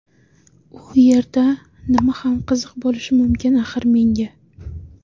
U yerda nima ham qiziq bo‘lishi mumkin axir menga?